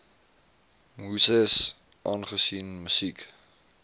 muses aangesien musiek